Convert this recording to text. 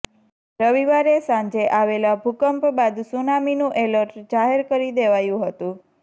રવિવારે સાંજે આવેલા ભૂકંપ બાદ સુનામીનું એલર્ટ જાહેર કરી દેવાયું હતું